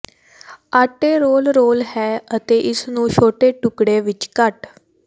ਆਟੇ roll roll ਹੈ ਅਤੇ ਇਸ ਨੂੰ ਛੋਟੇ ਟੁਕੜੇ ਵਿੱਚ ਕੱਟ